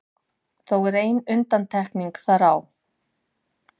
Þó er ein undantekning þar á.